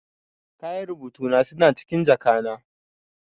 Kayan rubutu na suna cikin jaka na.